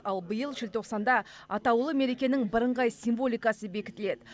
ал биыл желтоқсанда атаулы мерекенің бірыңғай символикасы бекітіледі